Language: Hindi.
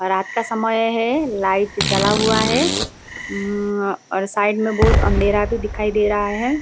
और रात का समय है लाइट जला हुआ है । उम्म्म और साइड में बहुत अँधेरा भी दिखाई दे रहा है ।